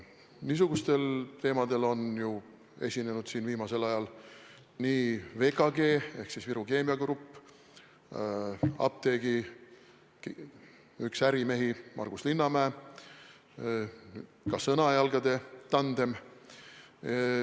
Niisugustel teemadel on viimasel ajal üles astunud VKG ehk Viru Keemia Grupp, apteegiärimees Margus Linnamäe ja ka Sõnajalgade tandem.